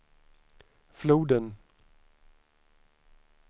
floden